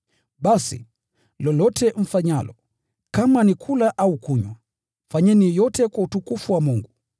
Basi, lolote mfanyalo, kama ni kula au kunywa, fanyeni yote kwa utukufu wa Mungu.